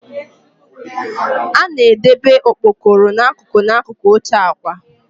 A na-edebe okpokoro n'akụkụ n'akụkụ oche akwa.